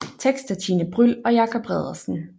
Tekst af Tine Bryld og Jacob Reddersen